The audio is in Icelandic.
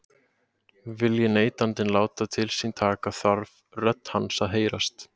Vilji neytandinn láta til sín taka þarf rödd hans að heyrast.